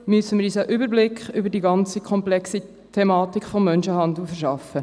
Dazu müssen wir uns einen Überblick über die ganze komplexe Thematik des Menschenhandels verschaffen.